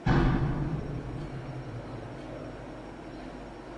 включай крутую киноху жанра спектакль